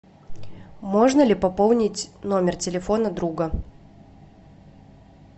можно ли пополнить номер телефона друга